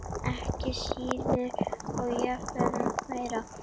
Ekki síður og jafnvel meira.